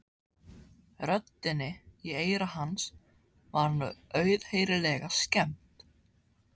Röddinni í eyra hans var nú auðheyrilega skemmt.